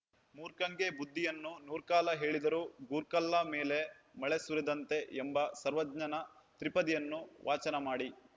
ಮೂರ್ಖಂಗೆ ಬುದ್ದಿಯನ್ನು ನೂರ್ಕಾಲ ಹೇಳಿದರೂ ಗೋರ್ಕಲ್ಲ ಮೇಲೆ ಮಳೆ ಸುರಿದಂತೆ ಎಂಬ ಸರ್ವಜ್ಞನ ತ್ರಿಪದಿಯನ್ನು ವಾಚನ ಮಾಡಿ